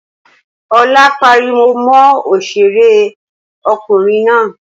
Olá pariwo mọ òṣèré kùnrin náà